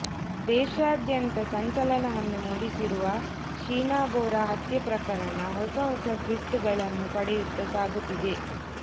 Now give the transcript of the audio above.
ದೇಶಾದ್ಯಂತ ಸಂಚಲನವನ್ನು ಮೂಡಿಸಿರುವ ಶೀನಾ ಬೋರಾ ಹತ್ಯೆ ಪ್ರಕರಣ ಹೊಸ ಹೊಸ ಟ್ವಿಸ್ಟ್ಗಳನ್ನು ಪಡೆಯುತ್ತ ಸಾಗುತ್ತಿದೆ